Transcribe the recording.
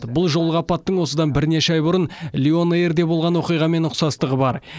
бұл жолғы апаттың осыдан бірнеше ай бұрын лион эйрде болған оқиғамен ұқсастығы бар